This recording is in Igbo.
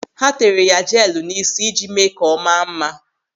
Ha tere ya jeelụ n'ísí iji mee ka ọ maa mma.